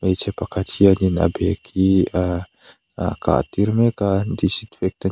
hmeichhe pakhat hianin a bag hi a a kah tir mek a disinfectant --